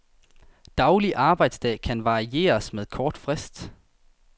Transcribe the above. Daglig arbejdsdag kan varieres med kort frist.